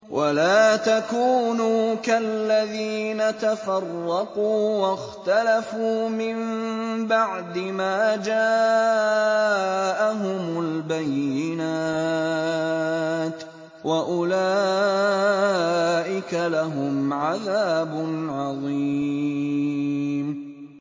وَلَا تَكُونُوا كَالَّذِينَ تَفَرَّقُوا وَاخْتَلَفُوا مِن بَعْدِ مَا جَاءَهُمُ الْبَيِّنَاتُ ۚ وَأُولَٰئِكَ لَهُمْ عَذَابٌ عَظِيمٌ